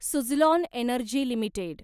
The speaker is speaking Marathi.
Suzlon energy limited